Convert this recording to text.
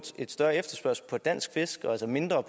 større efterspørgsel på dansk fisk og mindre